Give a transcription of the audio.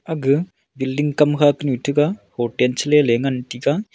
akga building kamkha kanu tega hotel chele ley ngan taiga.